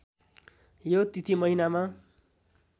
यो तिथि महिनामा